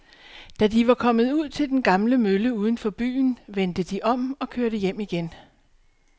Da de var kommet ud til den gamle mølle uden for byen, vendte de om og kørte hjem igen.